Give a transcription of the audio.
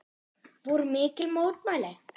Voru mikil mótmæli?